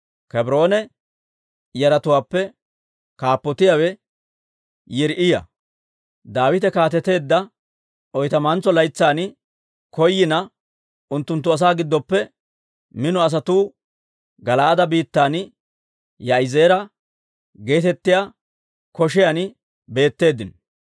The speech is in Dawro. Kebroone yaratuwaappe kaappotiyaawe Yiriiya. Daawite kaateteedda oytamantso laytsan koyina, unttunttu asaa giddoppe mino asatuu Gala'aade biittan Yaa'izeera geetettiyaa koshiyan beetteeddino.